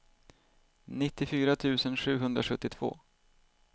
nittiofyra tusen sjuhundrasjuttiotvå